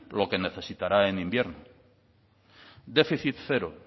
lo que necesitará en invierno déficit cero